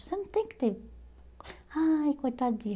Você não tem que ter... Ai, coitadinha.